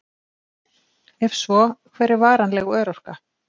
Ef svo, hver er varanleg örorka?